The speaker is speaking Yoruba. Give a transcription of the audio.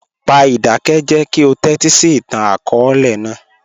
Pa idakẹjẹ ki o tẹtisi itan-akọọlẹ naa.